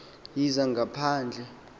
yezangaphandle